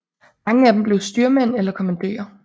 Mange af dem blev styrmænd eller kommandører